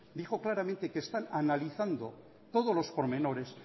dijo claramente que están analizando todos los pormenores